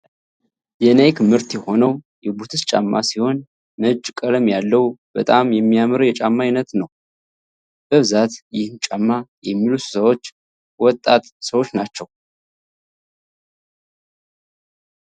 የናይክ ምርት የተሆነው የቡትስ ጫማ ሲሆን ነጭ ቀለም ያለው በጣም የሚያምር የጫማ አይነት ነው። በብዛት ይህን ጫማ የሚለብሱ ሰዎች ወጣት ሰወች ናቸው።